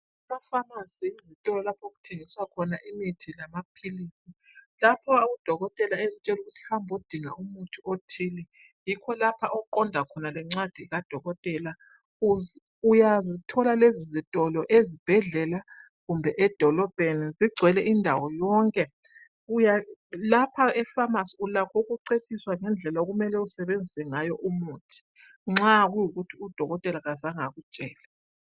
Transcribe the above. Efamasi yizitolo lapho okuthengiswa khona imithi lamaphilisi lapho udokotela ekutshela ukuthi hambodinga umuthi othile yikho lapho oqonda khona lencwadi kadokotela uyazithola lezi zitolo ezibhedlela kumbe edolobheni zigcwele indawo yonke lapha eFamasi ulakho ukucetshiswa indlela okumele usebenzise ngayo umuthi nxa kuyikuthi udokotela kazange akutshele.